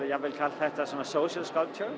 jafnvel kallað þetta social